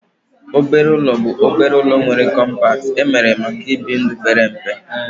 Obere ụlọ bụ obere ụlọ nwere kọmpat emere maka ibi ndụ pere mpe